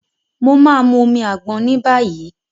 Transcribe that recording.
Mo ma mu omi àgbọn níbàyí.